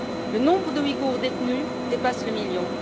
Le nombre de Ouïgours détenus dépasse le million.